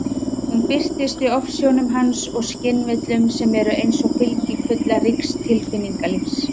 Hún birtist í ofsjónum hans og skynvillum, sem eru eins og fylgikvillar ríks tilfinningalífs.